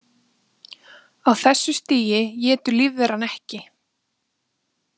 Á þessu stigi étur lífveran ekki.